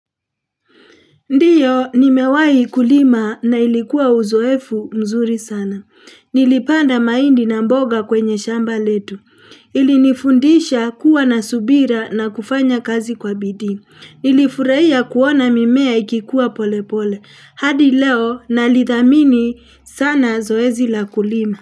Ndiyo, nimewai kulima na ilikuwa uzoefu mzuri sana. Nilipanda maindi na mboga kwenye shamba letu. Ilinifundisha kuwa na subira na kufanya kazi kwa bidii Nilifuraia kuona mimea ikikua pole pole. Hadi leo, nalithamini sana zoezi la kulima.